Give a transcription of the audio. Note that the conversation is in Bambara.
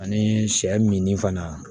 Ani sɛ min ni fana